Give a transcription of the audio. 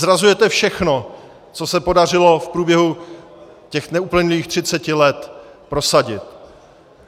Zrazujete všechno, co se podařilo v průběhu těch neuplynulých třiceti let prosadit.